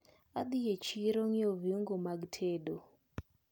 Adhi e chiro nyiewo viungo mag tedo.